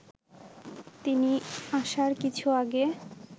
তিনি আসার কিছু আগে